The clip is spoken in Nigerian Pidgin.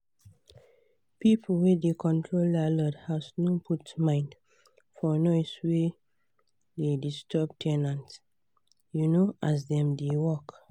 pipu wey da control landlord house no put mind for noise we da disturb ten ant um as dem da work